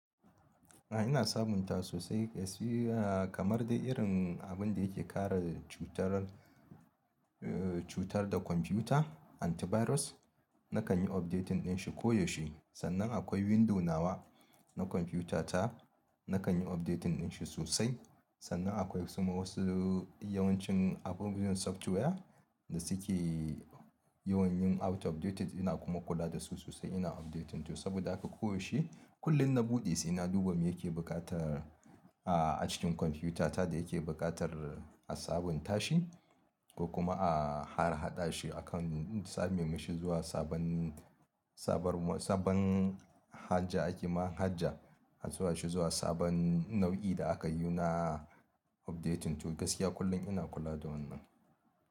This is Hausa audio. A'a ina sabuntawa sosai kamar dai irin abun da yake kare cutar, eh cutar da kwamfuta antivirus. Nakan yi updating din shi ko yaushe, sannan akwai window nawa na kwamfutata, nakan yi updating din shi sosai. Sannan akwai ma wasu yawancin abun software da suke yawan yin out of dated ina kuma kula da su sosai ina updating su saboda haka koyaushe kullum na buɗe sai na duba me yake buƙatar a ajin kwamfutata da yake buƙatar a sabunta shi ko kuma a harhaɗa shi akan same masa zuwa sabon, sabon, sabon haja. Aƙima haja a zuwa shi zuwa sabon nau'i da aka yi na updating to gaskiya kullum ina kula da wannan.